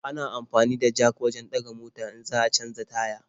Ana amfani da jak wajen ɗaga mota in za a canja taya.